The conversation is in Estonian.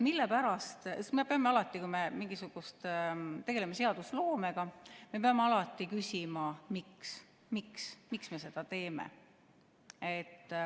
Me peame alati, kui me tegeleme seadusloomega, küsima, miks me seda teeme.